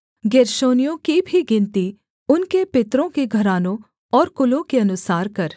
गेर्शोनियों की भी गिनती उनके पितरों के घरानों और कुलों के अनुसार कर